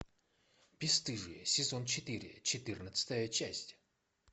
бесстыжие сезон четыре четырнадцатая часть